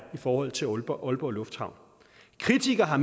i forhold til aalborg aalborg lufthavn kritikere har